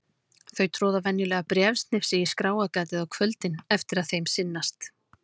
Þau troða venjulega bréfsnifsi í skráargatið á kvöldin eftir að þeim sinnast.